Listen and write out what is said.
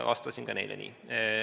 Vastasin ka neile nii.